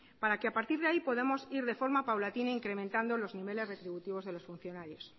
para que a partir de ahí podamos ir de forma ir de forma paulatina incrementando los niveles retributivos de los funcionarios